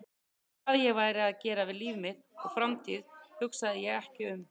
En hvað ég væri að gera við líf mitt og framtíð hugsaði ég ekki um.